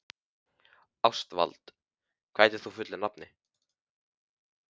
Ástvald, hvað heitir þú fullu nafni?